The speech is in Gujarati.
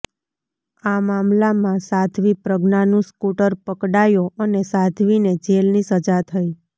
આ મામલામાં સાધ્વી પ્રજ્ઞા નું સ્કૂટર પકડાયો અને સાધ્વી ને જેલની સજા થઈ